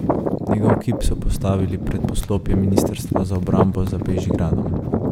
Njegov kip so postavili pred poslopje ministrstva za obrambo za Bežigradom.